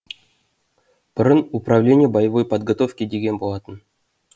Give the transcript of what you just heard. бұрын управление боевой подготовки деген болатын